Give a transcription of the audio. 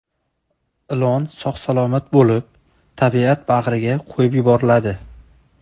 Ilon sog‘-salomat bo‘lib, tabiat bag‘riga qo‘yib yuboriladi.